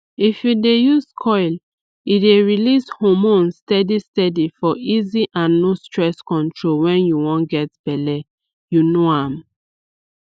if u dey use coil e dey release hormones steady steady for easy and no stress control wen u wan get belle u know am